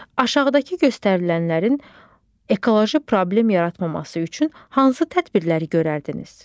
Aşağıdakı göstərilənlərin ekoloji problem yaratmaması üçün hansı tədbirləri görərdiniz?